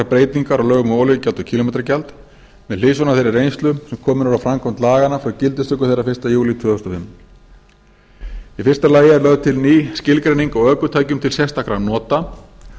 breytingar á lögum um olíugjald og kílómetragjald með hliðsjón af þeirri reynslu sem komin er á framkvæmd laganna frá gildistöku þeirra fyrsta júlí tvö þúsund og fimm í fyrsta lagi er lögð til ný skilgreining á ökutækjum til sérstakra nota